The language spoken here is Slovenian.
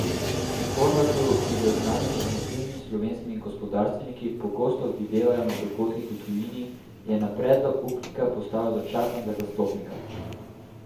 Horvatu, ki ga z znanimi in vplivnimi slovenskimi gospodarstveniki pogosto videvajo na dogodkih v tujini, je na predlog upnika postavilo začasnega zastopnika.